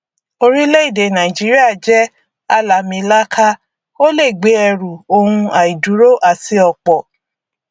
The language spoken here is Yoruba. orílẹèdè nàìjíríà jẹ àlàamìlaaka o lè gbé ẹrù ohun àìdúró àti ọpọ